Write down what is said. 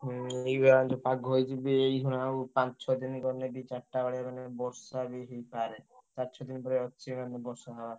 ହୁଁ ଏଇବା ଯୋଉ ପାଗ ହେଇଛି ବି ଏଇଖିନା ଆଉ ପାଞ୍ଚ, ଛଅ ଦିନି ଗଲେ ବି ଚା ରିଟା ବେଳିଆ ମାନେ ବର୍ଷା ବି ହେଇପାରେ। ଚାରି, ଛଅ ଦିନି ପରେ ଅଛି ମାନେ ବର୍ଷା ହବା।